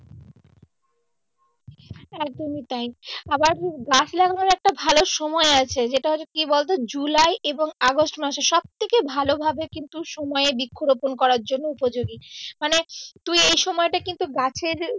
একদমই তাই আবার গাছ লাগানোর একটা ভালো সময় আছে যেটা হচ্ছে কি বলতো জুলাই এবং আগষ্ট মাসের সব থেকে ভালো ভাবে কিন্তু সময় এর বৃক্ষ রোপন করার জন্য উপযোগী মানে তুই এই সময়টা কিন্তু গাছের